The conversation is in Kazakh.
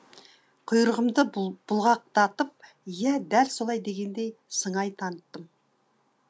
құйрығымды бұлғақдатып иә дәл солай дегендей сыңай таныттым